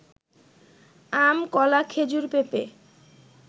আম, কলা, খেজুর, পেঁপে